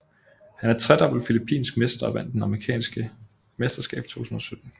Han er tredobbelt filippinsk mester og vandt det amerikanske mesterskab i 2017